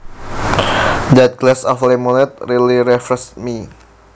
That glass of lemonade really refreshed me